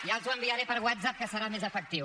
ja els ho enviaré per whatsapp que serà més efectiu